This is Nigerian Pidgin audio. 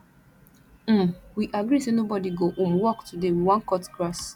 um we agree say nobody go um work today we wan cut grass